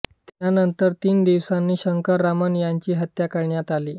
त्यानंतर तीन दिवसांनी शंकररामन यांची हत्या करण्यात आली